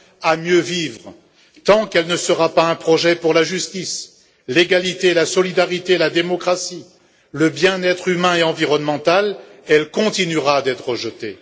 à mieux vivre, tant qu'elle ne sera pas un projet pour la justice, l'égalité, la solidarité, la démocratie, le bien être humain et environnemental, elle continuera d'être rejetée.